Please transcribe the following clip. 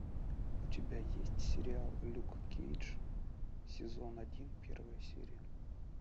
у тебя есть сериал люк кейдж сезон один первая серия